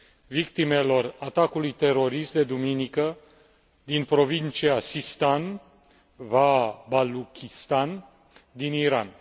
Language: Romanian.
victimelor atacului terorist de duminică din provincia Sistan va Baluchistan din Iran.